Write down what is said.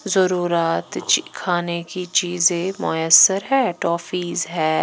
जरू रात ची खाने की चीजें है मुयसर है टॉफीज है।